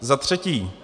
Za třetí.